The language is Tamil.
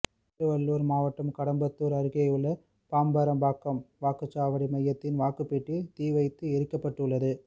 திருவள்ளூர் மாவட்டம் கடம்பத்தூர் அருகேயுள்ள பாம்பரம்பாக்கம் வாக்குச்சாவடி மையத்தின் வாக்குப்பெட்டி தீ வைத்து எரிக்கப்பட்டுள்ளது